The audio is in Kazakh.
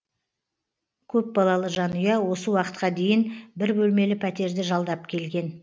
көпбалалы жанұя осы уақытқа дейін бір бөлмелі пәтерді жалдап келген